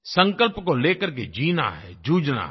संकल्प को लेकर के जीना है जूझना है